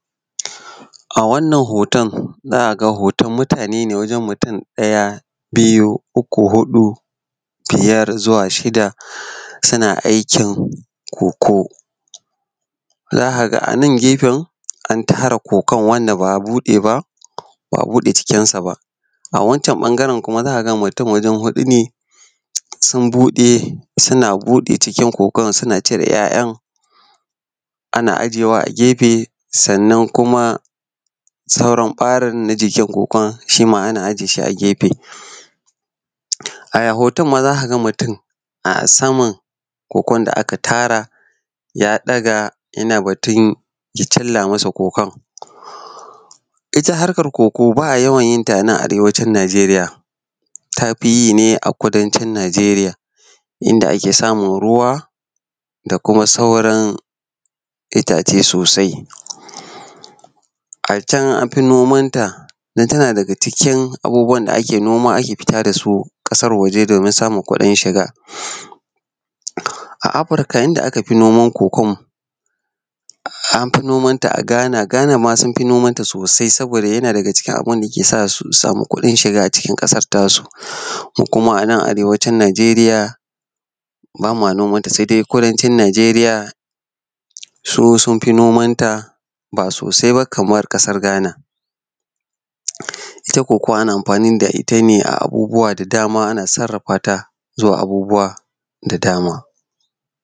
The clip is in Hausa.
A wannan hoton, za a ga hoton mutane ne ɗaya biyu, uku, huɗu, biyar har zuwa shida suna aikin cocoa. Za ka ga a nan gefen an tara cocoa wansa ba a bude ba bude cikinsa ba. Awancen bsngaten kuwa za ka ga wajen mutim huɗu ne sun bude ko suna buɗe cikin cocoa suna cire ya'ya ana ajiyewa a gefe. Sannan kuma sauran ɓarin na jikin kuma shi ma ana ajiye shi a gefe. A hoton ma za ka ga mutum a sama na cocoa da aka tara yana batun ya cilla masa cocoa. Ita harkar cocoa ba a ywan yinta a nan Arewacin Nijeriya, ta fi yi ne a kudancin Nijeriya inda aka samun ruwa da kuma sauran ita ce sosai. A can an fi nomanta domin tana daga cikin abubuwan da ake fita da shi ƙasar waje domin samun kuɗin shiga. A Afirka inda aka fi noman cocoa ɗin an gi nomanta a gina Ghana ma sun fi nomanta, tana daga cikin abun da yake sa su sama kuɗin shiga cikin ƙasar tasu. Mu kuma a na Arewacin Nijeriya ba ma nomanta sai dai kudanci Najeriya mun fi nomanta ba sosai ba kamar kasara Ghana. Ita cocoa ana amfani da ita ne a matsyin dama ana sarrafa ta zuwa abubuwan kamar abubuwa da dama.